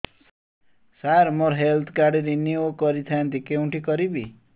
ସାର ମୋର health card renew କରିଥାନ୍ତି କେଉଁଠି କରିବି